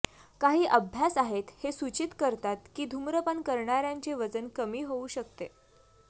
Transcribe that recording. काही अभ्यास आहेत हे सूचित करतात की धूम्रपान करणार्यांचे वजन कमी होऊ शकते